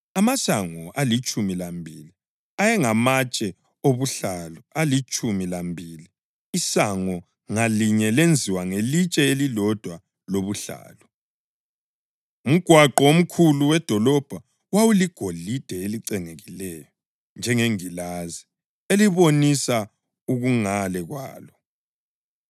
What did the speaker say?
Amasango alitshumi lambili ayengamatshe obuhlalu alitshumi lambili, isango ngalinye lenziwe ngelitshe elilodwa lobuhlalu. Umgwaqo omkhulu wedolobho wawuligolide elicengekileyo njengengilazi elibonisa okungale kwalo.